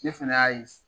Ne fɛnɛ y'a ye